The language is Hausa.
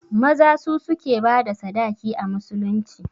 Maza su suke bada sadaki a musulunci